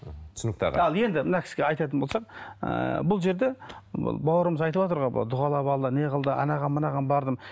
мхм түсінікті аға ал енді мына кісіге айтатын болсам ыыы бұл жерде бауырымыз айтыватыр ғой дұғалап алды неғылды анаған мынаған бардым